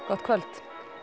gott kvöld